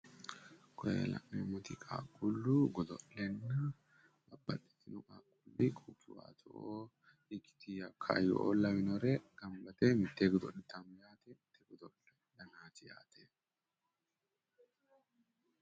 koye la'neemmoti qaaquullu godo'lenna babbaxitino qaaquulli kaayyo''o laweere mitee godo'litanno garaati yaate.